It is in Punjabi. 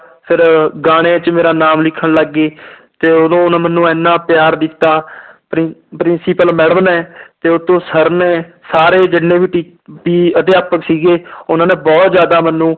ਫਿਰ ਗਾਣੇ ਚ ਮੇਰਾ ਨਾਮ ਲਿਖਣ ਲੱਗ ਗਏ ਤੇ ਉਦੋਂ ਉਹਨੇ ਮੈਨੂੰ ਇੰਨਾ ਪਿਆਰ ਦਿੱਤਾ ਪ੍ਰਿ principal madam ਨੇ ਤੇ ਉੱਤੋਂ ਸਰ ਨੇ ਸਾਰੇ ਜਿੰਨੇ ਵੀ ਟੀ ਵੀ ਅਧਿਾਪਕ ਸੀਗੇ ਉਹਨਾਂ ਨੇ ਬਹੁਤ ਜ਼ਿਆਦਾ ਮੈਨੂੰ